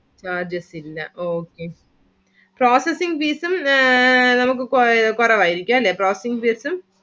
Charges ഇല്ല okay. processing fees ഉം നമുക്ക് കുറവായിരിക്കും അല്ലെ processing fees ഉം